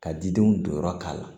Ka didenw jɔyɔrɔ k'a la